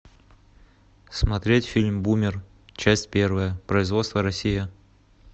смотреть фильм бумер часть первая производство россия